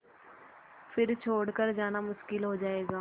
फिर छोड़ कर जाना मुश्किल हो जाएगा